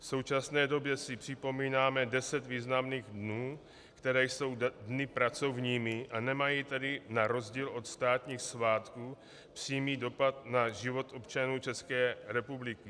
V současné době si připomínáme deset významných dnů, které jsou dny pracovními, a nemají tedy na rozdíl od státních svátků přímý dopad na život občanů České republiky.